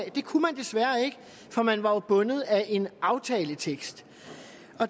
at det kunne man desværre ikke for man var jo bundet af en aftaletekst